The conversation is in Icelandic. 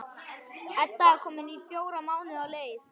Edda er komin fjóra mánuði á leið.